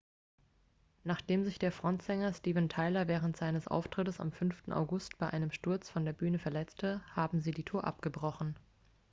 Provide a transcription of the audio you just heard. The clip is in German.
nachdem sich der frontsänger steven tyler während eines auftrittes am 5. august bei einem sturz von der bühne verletzte haben sie die tour abgebrochen